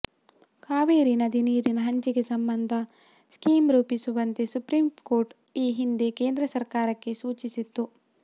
ಕಾವೇರಿ ನದಿ ನೀರಿನ ಹಂಚಿಕೆ ಸಂಬಂಧ ಸ್ಕೀಂ ರೂಪಿಸುವಂತೆ ಸುಪ್ರೀಂ ಕೋರ್ಟ್ ಈ ಹಿಂದೆ ಕೇಂದ್ರ ಸರ್ಕಾರಕ್ಕೆ ಸೂಚಿಸಿತ್ತು